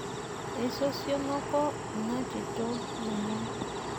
Eisosionoko ina tito lomon.